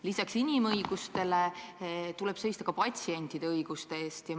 Lisaks inimõigustele tuleb seista ka patsientide õiguste eest.